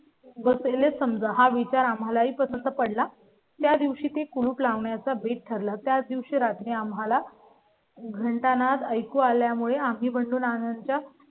बसेल असं हा विचार आम्हाला ही पसंत पडला. त्या दिवशी ते कुलूप लावण्या चा बेथ ठरला. त्या दिवशी रात्री आम्हाला. घंटानाद ऐकू यामुळे आम्ही बनवून आनंदच्या